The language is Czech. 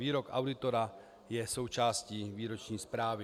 Výrok auditora je součástí výroční zprávy.